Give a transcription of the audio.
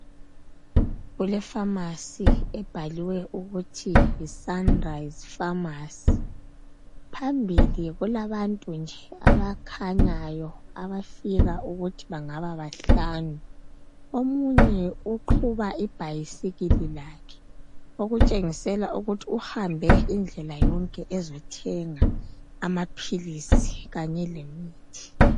Kulefamasi ebhaliwe ukuthi yi 'Sunrise pharmacy '. Phambili kulabantu nje abakhanyayo abafika ukuthi bangaba bahlanu. Omunye uqhuba ibhayisikili lakhe, okutshengisela ukuthi uhambe indlela yonke ezothenga amaphilisi, kanye lemithi.